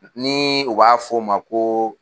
Ni u b'a fɔ o ma ko.